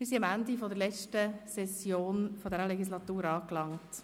Wir sind am Ende der letzten Session dieser Legislatur angelangt.